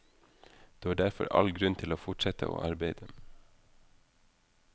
Du har derfor all grunn til å fortsette å arbeide.